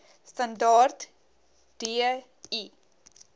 standaard d l